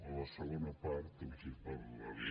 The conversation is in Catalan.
a la segona part els parlaré